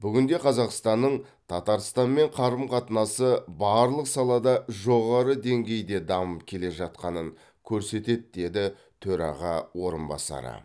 бүгінде қазақстанның татарстанмен қарым қатынасы барлық салада жоғары деңгейде дамып келе жатқанын көрсетеді деді төраға орынбасары